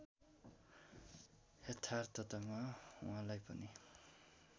यथार्थतामा उहाँलाई पनि